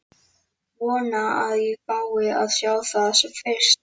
Vona að ég fái að sjá það sem fyrst.